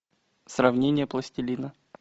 сравнение пластилина